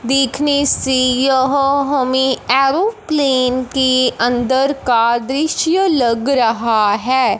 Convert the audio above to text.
देखने से यह हमें एरोप्लेन के अंदर का दृश्य लग रहा है।